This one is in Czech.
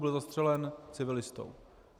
Byl zastřelen civilistou.